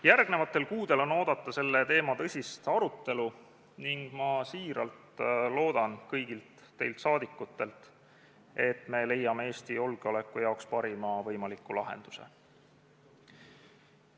Järgmistel kuudel on oodata selle teema tõsist arutelu ning ma väga loodan kõigilt teilt, et me leiame Eesti julgeoleku jaoks parima võimaliku lahenduse.